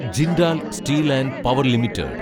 Jindal steel and power limited